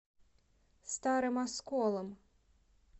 старым осколом